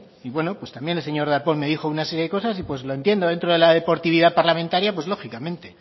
bueno pues también el señor darpón me dijo una serie de cosas y pues lo entiendo dentro de la deportividad parlamentaria pues lógicamente